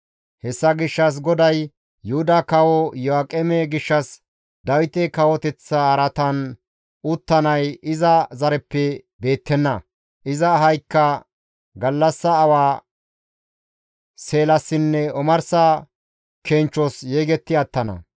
Hessa gishshas GODAY Yuhuda kawo Iyo7aaqeme gishshas, «Dawite kawoteththa araatan uttanay iza zareppe beettenna; iza ahaykka gallassa awa seelassinne omarsa kenchchos yegetti attana.